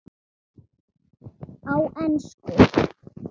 Á ensku